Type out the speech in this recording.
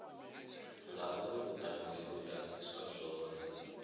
ngauri vhuṱanzi ho ḓadziswa zwone